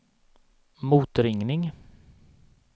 motringning